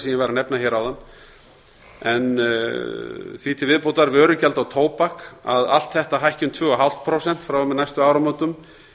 ég var að nefna hér áðan og vörugjald á tóbak hækki um tuttugu og fimm prósent frá og með næstu áramótum